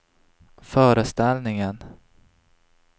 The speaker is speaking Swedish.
föreställningen